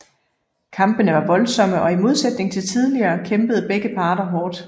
Kampene var voldsomme og i modsætning til tidligere kæmpede begge parter hårdt